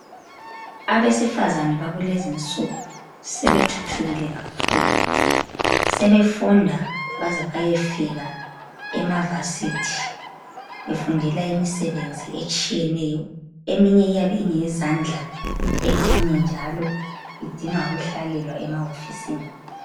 Abesifazane bakulenzi insuku sebethuthukile kakhulu, sebefunda baze bayefika ema varsity befundela imsebenzi etshiyeneyo. Eminye iyabe ingeyezandla eminye njalo idinga ukuhlalelwa emahofisini.